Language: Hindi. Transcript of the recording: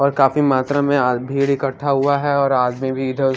और काफी मात्रा में आज भीड़ इकठा हुआ हैं और आदमी भी इधर--